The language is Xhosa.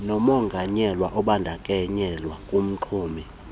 nomonganyelwa obandakanyeka kumxumi